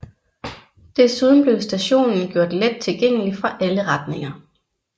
Desuden blev stationen gjort let tilgængelig fra alle retninger